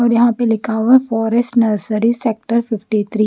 और यहां पे लिखा हुआ है forest nursery sector fifty three.